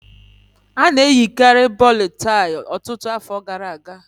A na-eyikarị bòlọ́ tàị́ ọtụtụ afọ gara aga